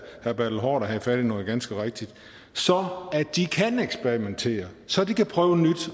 herre bertel haarder havde fat i noget ganske rigtigt så de kan eksperimentere så de kan prøve nyt